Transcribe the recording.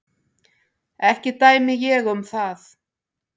Ekki dæmi ég um það.